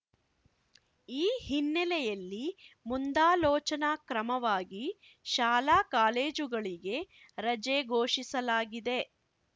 ಈ ಹಿನ್ನೆಲೆಯಲ್ಲಿ ಮುಂದಾಲೋಚನಾ ಕ್ರಮವಾಗಿ ಶಾಲಾಕಾಲೇಜುಗಳಿಗೆ ರಜೆ ಘೋಷಿಸಲಾಗಿದೆ